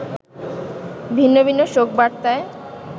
ভিন্ন ভিন্ন শোক বার্তায়